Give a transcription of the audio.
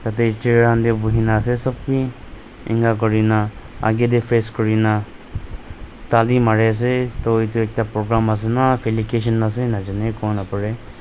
ite chair han teh buhina ase sop wi inika kurina agay teh face kurina tali mari ase toh itu ekta program ase na falication najaney kowo narareh.